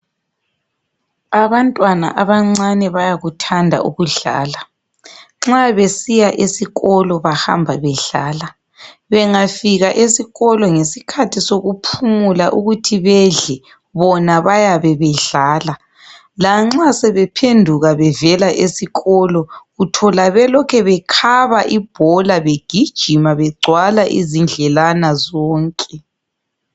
Abantwana abancane bayakuthanda ukudlala. Nxa besiya esikolo bahamba bedlala. Bengafika esikolo ngesikhathi sokuphumula ukuthi bedle bona bayabe bedlala. Lanxa sebephenduka bevela esikolo uthola belokhe bekhaba ibhola begijima begcwala izindlelana zonke.